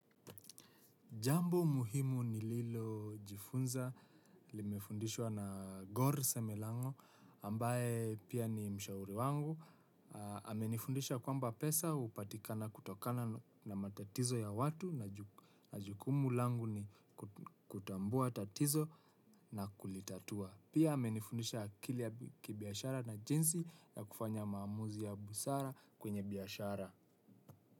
Jambo muhimu ni Lilo Jifunza, limifundishwa na Gor Semelango, ambaye pia ni mshauri wangu. Amenifundisha kwamba pesa hupatikana kutokana na matatizo ya watu na jukumu langu ni kutambua tatizo na kulitatua. Pia ame nifundisha akili ya kibiashara na jinzi na kufanya maamuzi ya busara kwenye biashara.